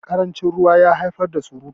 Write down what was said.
karancin ruwa ya haifar da surutu